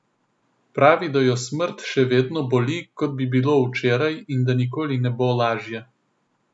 Pravi, da jo smrt še vedno boli, kot bi bilo včeraj, in da nikoli ne bo lažje.